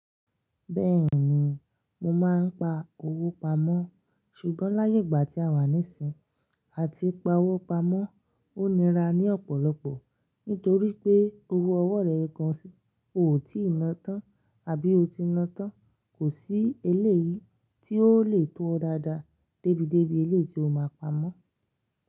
Bẹ́ẹ̀ni, mo máa ń pa owó pamọ́ ṣùgbọ́n láyé ìgbà tí a wà níìsín, à ti pa owó pamọ́, ó nira ní ọ̀pọ̀lọpọ̀ nítorí pé owó ọwọ́ rẹ̀ gan, ò tí ì ná tán àbí o ti nátán. Kò sí eléyìí tí ó le tó ọ dáadáa débi débi eléyìí tí o máa pamọ́.